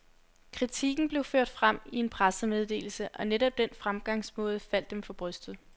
Kritikken blev ført frem i en pressemeddelse, og netop den fremgangsmåde faldt dem for brystet.